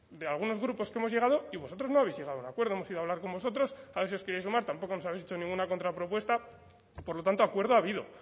de algunos grupos que hemos llegado y vosotros no habéis llegado a un acuerdo hemos ido a hablar con vosotros a ver si os queríais sumar tampoco nos habéis hecho ninguna contrapropuesta por lo tanto acuerdo ha habido otra